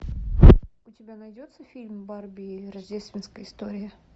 у тебя найдется фильм барби рождественская история